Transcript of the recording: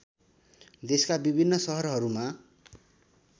देशका विभिन्न सहरहरूमा